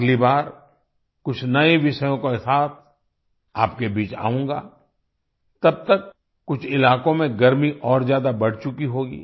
अगली बार कुछ नए विषयों के साथ आपके बीच आऊँगा तब तक कुछ इलाकों में गर्मी और ज्यादा बढ़ चुकी होगी